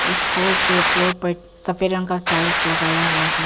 इस हॉल के फ्लोर पर सफेद रंग का टाइल्स लगाया गया है।